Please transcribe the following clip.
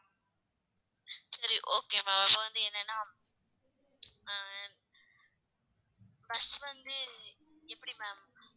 சரி okay ma'am இப்ப வந்து என்னன்னா அஹ் first வந்து எப்படி ma'am